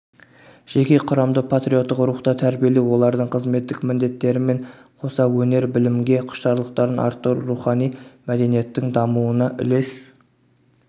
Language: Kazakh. жеке құрамды патриоттық рухта тәрбиелеу олардың қызметтік міндеттерімен қоса өнер-білімге құштарлықтарын арттыру рухани мәдениеттің дамуына үлес